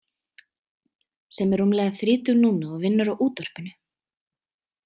Sem er rúmlega þrítug núna og vinnur á útvarpinu.